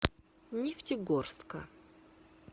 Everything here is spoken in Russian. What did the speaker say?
нефтегорска